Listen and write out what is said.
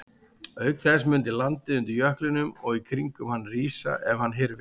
Auk þess mundi landið undir jöklinum og í kringum hann rísa ef hann hyrfi.